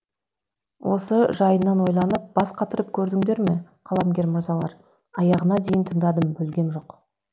осы жайынан ойланып бас қатырып көрдіңдер ме қаламгер мырзалар аяғына дейін тыңдадым бөлгем жоқ